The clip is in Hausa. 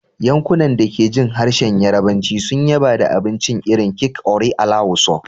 Yankunan da ke jin harshen Yarbanci sun yaba da abincin irin kek "Ore alawusa,"